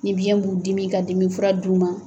Nin biyɛn b'u dimi i ka dimi fura d'u ma.